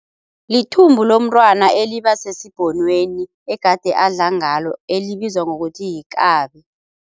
Lithumbu lomntwana eliba sesibhonweni egade adla ngalo elibizwa ngokuthi yikabi.